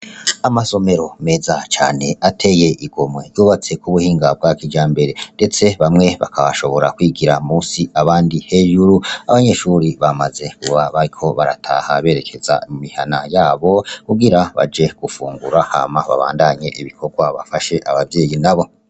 Amasomero meza cane ateye igomwe yubatse ku buhinga bwa kijambere ndetse bamwe bakaba bashobora kwigira musi abandi hejuru, abanyeshure bamaze kuba bariko barataha berekeza mu mihana yabo kugira baje gufungura hama babandanye ibikogwa bafashe abavyeyi nabo.